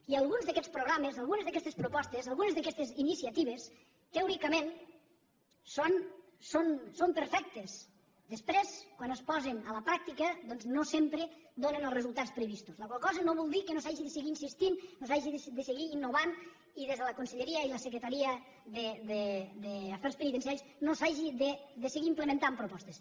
i alguns d’aquests programes algunes d’aquestes propostes algunes d’aquestes iniciatives teòricament són perfectes després quan es posen a la pràctica doncs no sempre donen els resultats previstos la qual cosa no vol dir que no s’hi hagi de seguir insistint no s’hagi de seguir innovant i des de la conselleria i la secretaria d’afers penitenciaris no s’hagi de seguir implementant propostes